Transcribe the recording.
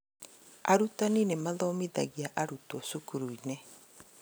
Arutani nĩmathomithagia arutwo cukuru-inĩ